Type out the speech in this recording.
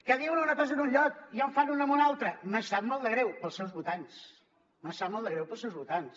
que diuen una cosa en un lloc i en fan una en un altre me sap molt de greu pels seus votants me sap molt de greu pels seus votants